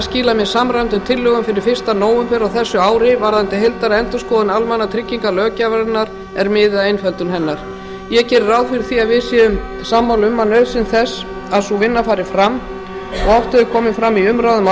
skila mér samræmdum tillögum fyrir fyrsta nóvember á þessu ári varðandi heildarendurskoðun almannatryggingalöggjafarinnar er miði að einföldun hennar ég geri ráð fyrir því við séum sammála um nauðsyn þess að sú vinna fari fram og oft hefur komið fram í umræðum á